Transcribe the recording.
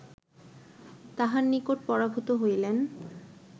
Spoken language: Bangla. তাঁহার নিকট পরাভূত হইলেন